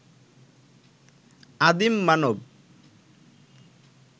আদিম মানব